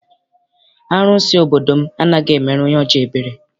Arụsị obodo m anaghị emere onye ọjọọ ebere.